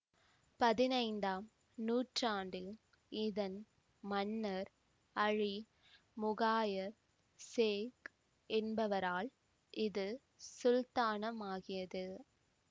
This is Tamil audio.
பதினைந்தாம் நூற்றாண்டில் இதன் மன்னர் அலீ முகாயத் சேக் என்பவரால் இது சுல்தானமாகியது